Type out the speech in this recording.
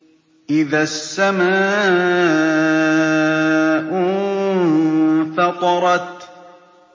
إِذَا السَّمَاءُ انفَطَرَتْ